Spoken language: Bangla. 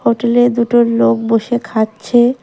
হোটেলে দুটো লোক বসে খাচ্ছে।